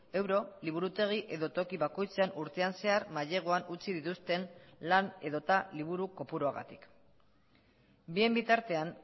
euro liburutegi edo toki bakoitzean urtean zehar maileguan utzi dituzten lan edota liburu kopuruagatik bien bitartean